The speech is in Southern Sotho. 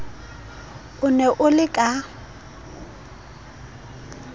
o ne o le ka